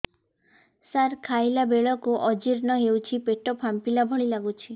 ସାର ଖାଇଲା ବେଳକୁ ଅଜିର୍ଣ ହେଉଛି ପେଟ ଫାମ୍ପିଲା ଭଳି ଲଗୁଛି